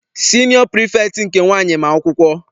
Siniọ pirifektị nke nwaanyị ma akwụkwọ.